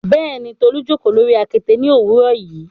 Bẹẹni, Tolu jókò lori akete ni owurọ yi